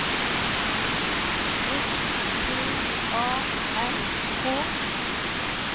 S P A R K